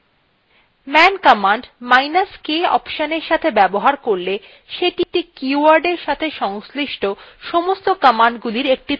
man commandsk অপশনএর সাথে ব্যবহার করলে সেটি একটি keywordএর সাথে সংশ্লিষ্ট সমস্ত commandsগুলির একটি তালিকা দেয় এবং তাদের সংক্ষিপ্ত উদ্দেশ্যে জানায়